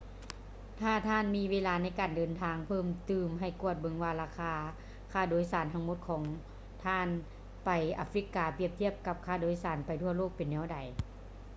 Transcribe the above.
ຖ້າທ່ານມີເວລາໃນການເດີນທາງເພີ່ມຕື່ມ ໃຫ້ກວດເບິ່ງວ່າ ລາຄາຄ່າໂດຍສານທັງໝົດຂອງທ່ານ ໄປອາຟຼິກກາ ປຽບທຽບກັບ ຄ່າໂດຍສານໄປທົ່ວໂລກ ເປັນແນວໃດ